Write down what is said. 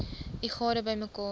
u gade bymekaar